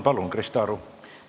Palun, Krista Aru!